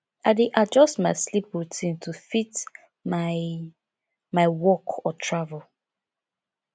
i dey adjust my sleep routine to fit my my work or travel